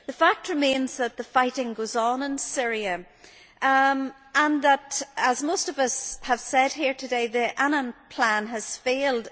The fact remains that the fighting goes on in Syria and that, as most of us have said here today, the Annan plan has failed.